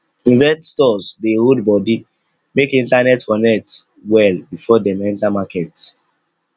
investors dey hold body make internet connect well before dem enter market